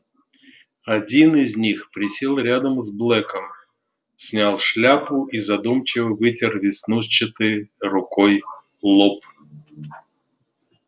один из них присел рядом с блэком снял шляпу и задумчиво вытер веснушчатой рукой лоб